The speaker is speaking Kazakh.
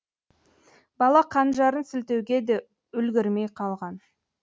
бала қанжарын сілтеуге де үлгірмей қалған